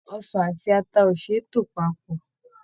Ọsàn àti ata o ṣe é tò papọ̀.